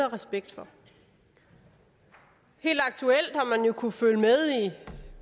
respekt for helt aktuelt har man jo kunnet følge med i